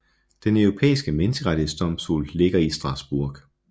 Den Europæiske Menneskerettighedsdomstol ligger i Strasbourg